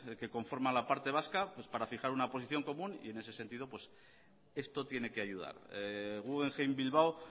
que conforman la parte vasca para fijar una posición común y en ese sentido esto tiene que ayudar guggenheim bilbao